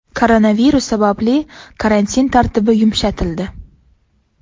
Koronavirus sababli karantin tartibi yumshatildi.